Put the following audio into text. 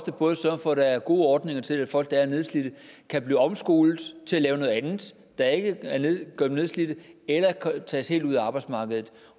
vi både sørge for at der er gode ordninger til at folk der er nedslidte kan blive omskolet til at lave noget andet der ikke gør dem nedslidte eller kan tages helt ud af arbejdsmarkedet